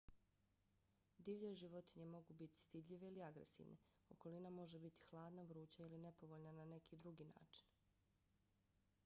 divlje životinje mogu biti stidljive ili agresivne. okolina može biti hladna vruća ili nepovoljna na neki drugi način